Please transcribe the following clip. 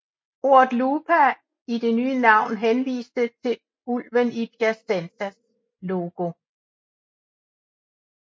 Ordet Lupa i det nye navn henviste til ulven i Piacenzas logo